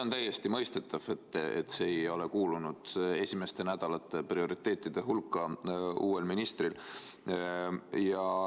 On täiesti mõistetav, et see ei ole kuulunud uue ministri esimeste nädalate prioriteetide hulka.